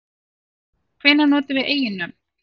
Hvenær notum við eiginnöfn?